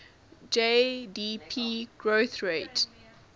gdp growth rate